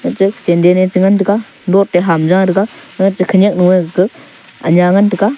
ache sandal eh chagan tega laut eh aham ja tega aga khaniak noi gaga aangia ngantega.